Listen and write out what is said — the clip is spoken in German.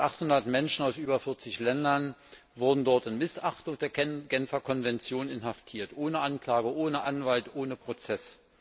Fast 800 Menschen aus über vierzig Ländern wurden dort unter Missachtung der Genfer Konvention inhaftiert, ohne Anklage, ohne Anwalt, ohne Prozess.